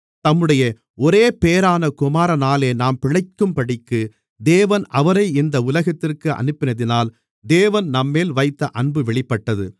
தம்முடைய ஒரேபேறான குமாரனாலே நாம் பிழைக்கும்படிக்கு தேவன் அவரை இந்த உலகத்திற்கு அனுப்பினதினால் தேவன் நம்மேல் வைத்த அன்பு வெளிப்பட்டது